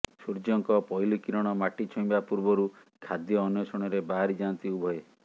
ସୂର୍ଯ୍ୟଙ୍କ ପହିଲି କିରଣ ମାଟି ଛୁଇଁବା ପୂର୍ବରୁ ଖାଦ୍ୟ ଅନ୍ୱେଷଣରେ ବାହାରି ଯାଆନ୍ତି ଉଭୟେ